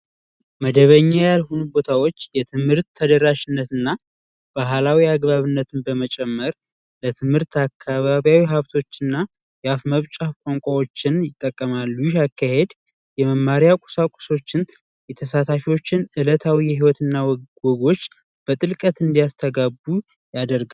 መደበኛ ሁሉም ቦታዎች የትምህርት ተደራሽነትና ባህላዊ የአግባብነትን በመጨመር ለትምህርት አካባቢ ሀብቶችና የአፍ መፍቻ ቋንቋዎችን ይጠቀማሉ የመማሪያ ቁሳቁሶችን የተሳታፊዎችን እለታዊ የህይወት እና ውስጥ በጥልቀት እንዲያስተጋቡ ያደርጋል::